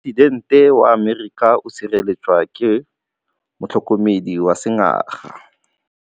Poresitêntê wa Amerika o sireletswa ke motlhokomedi wa sengaga.